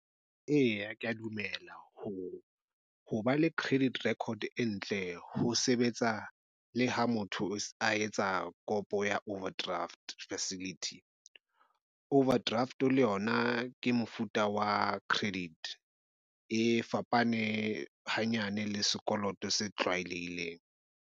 Eya kea dumela ho hoba le credit record e ntle ho sebetsa le ha motho a etsa kopo ya overdraft facility. Overdraft, le yona ke mofuta wa credit e fapane hanyane le sekoloto se tlwaelehileng.